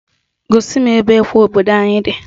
Gosi m ebe ekwe obodo anyị di